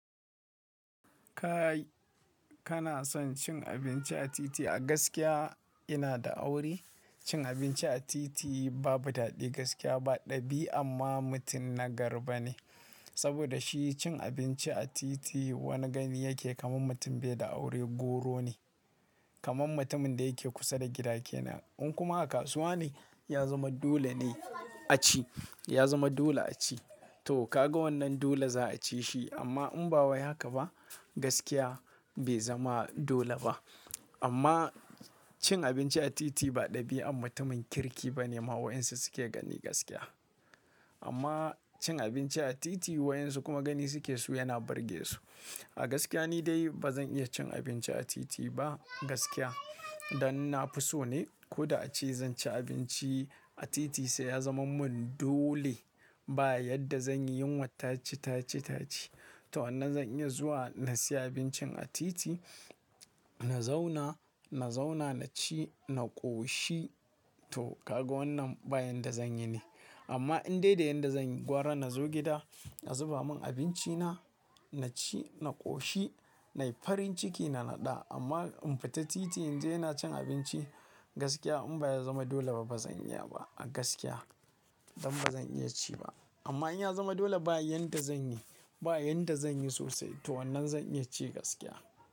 Kai kana son cin abinci a titi? A gaskiya ina da aure. Cin abinci a titi babu daɗi gaskiya ba ɗabi'a amma mutum na gari ba ne. Saboda shi cin abinci a titi wani gani yake kamar mutum bai da aure goro ne. Kaman mutumin da yake kusa da gidake na. In kuma a kasuwa ne, ya zama dole ne a ci. Ya zama dole a ci. To kaga wannan dole za a ci shi amma in ba wa haka ba gaskiya bai zama dole ba. Amma cin abinci a titi ba ɗabi'a amma mutumin kirki ba ne ma wayinsa suke gani gaskiya. Amma cin abinci a titi wayansu kuma gani suke so yana burge su. A gaskiya ni dai ba zan iya cin abinci a titi ba gaskiya. Dan na fi so ne ko da a ci zan ci abinci a titi sai ya zama mun dole ba yadda zan yi yunwa tace, tace, tace. To wannan zan iya zuwa na siya abincin a titi, na zauna, na zauna na ci, na ƙoshi. To kaga wannan bayan da zan yi ne. Amma in dai da yadda zan yi gwara na zo gida a zuba mun abinci na, na ci, na ƙoshi nayi farin ciki na naɗa. Amma in fita titi in je ina cin abinci gaskiya in ba ya zama dole ba bazan iya ba a gaskiya. Dan bazan iya ci ba. Amma in ya zama dole ba yadda zan yi. Ba yadda zan yi sosai. To wannan zan iya ci gaskiya.